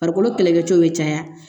Farikolo kɛlɛkɛcɛw bɛ caya